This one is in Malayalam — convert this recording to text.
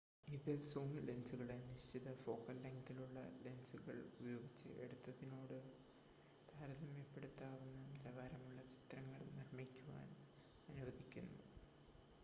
ഇത് സൂം ലെൻസുകളെ നിശ്ചിത ഫോക്കൽ ലെങ്‌തുള്ള ലെൻസുകൾ ഉപയോഗിച്ച് എടുത്തതിനോട് താരതമ്യപ്പെടുത്താവുന്ന നിലവാരമുള്ള ചിത്രങ്ങൾ നിർമ്മിക്കാൻ അനുവദിക്കുന്നു